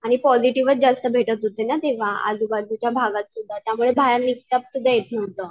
आणि पॉझिटिव्हच जास्त भेटत होते ना तेंव्हा आजूबाजूच्या भागातसुद्धा त्यामुळे बाहेर निघत सुद्धा येत नव्हतं.